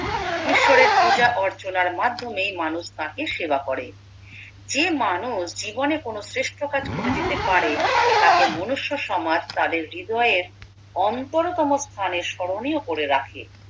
ঈশ্বরের পূজা অর্চনার মাধ্যমে মানুষ তাঁকে সেবা করে যে মানুষ জীবনে কোনো শ্রেষ্ঠ কাজ করে যেতে পারে তাকে মনুষ্য সমাজ তাকে হৃদয়ে অন্তরতম স্থানে স্মরণীয় করে রাখে